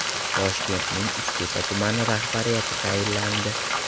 Toshkentning Uchtepa tumani rahbariyati tayinlandi.